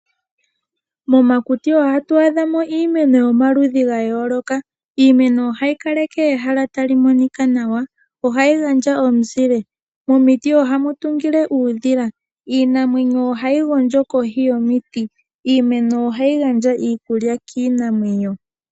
Momakuti ohatu adhamo iimeno yomaludhi gayooloka. Iimeno ohayi kaleke ehala tali monika nawa, ohayi gandja omuzile, momiti ohamu tungile uudhila, iinamwenyo ohayi gondjo kohi yomiti, iimeno ohayi gandja iikulya kiinamwenyo.